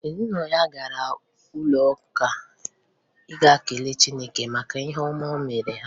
Ezinụlọ ya gara n'ụlọụka ịga kelee chineke maka ihe ọma o mere ha